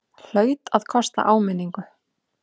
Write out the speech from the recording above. Hlaut að kosta áminningu!